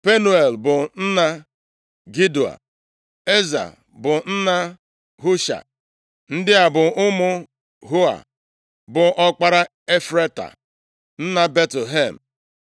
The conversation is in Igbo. Penuel bụ nna Gedoa, Eza bụ nna Husha. Ndị a bụ ụmụ Hua, bụ ọkpara Efrata, nna Betlehem.